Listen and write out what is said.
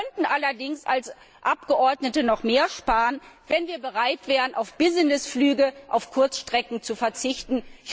Wir könnten allerdings als Abgeordnete noch mehr sparen, wenn wir bereit wären, auf Businessflüge auf Kurzstrecken zu verzichten.